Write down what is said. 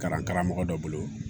Kalan karamɔgɔ dɔ bolo